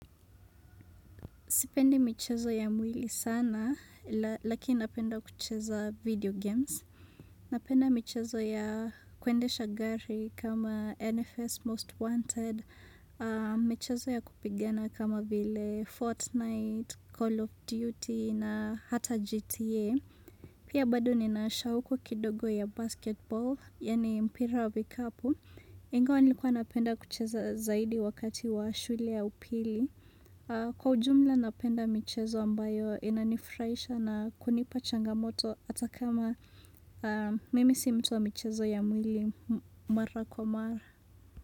Sipendi michezo ya mwili sana, lakini napenda kucheza video games. Napenda michezo ya kuendesha gari kama NFS Most Wanted, michezo ya kupigana kama vile Fortnite, Call of Duty na hata GTA. Pia bado nina shauku kidogo ya basketball, yaani mpira wa vikapu. Ingawa nilikuwa napenda kucheza zaidi wakati wa shule ya upili. Kwa ujumla napenda michezo ambayo inanifraisha na kunipa changamoto hata kama mimi simtu wa michezo ya mwili mara kwa mara.